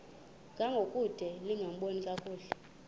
ngangokude lingaboni kakuhle